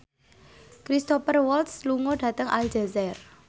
Cristhoper Waltz lunga dhateng Aljazair